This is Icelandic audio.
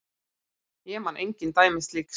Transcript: Ég man engin dæmi slíks.